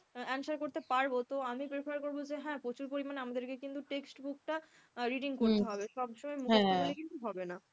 answer করতে পারবো, তো আমি prefer করবো যে হ্যাঁ প্রচুর পরিমাণে আমাদেরকে কিন্তু textbook টা reading করতে হবে, সবসময় মুখস্ত করলে কিন্তু হবে না।